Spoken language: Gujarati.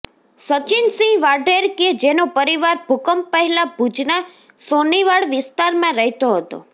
સચિનસિંહ વાઢેર કે જેનો પરિવાર ભૂકંપ પહેલાં ભુજના સોનીવાડ વિસ્તારમાં રહેતો હતો